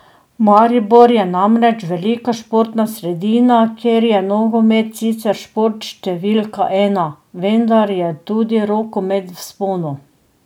Maribor je namreč velika športna sredina, kjer je nogomet sicer šport številka ena, vendar je tudi rokomet v vzponu.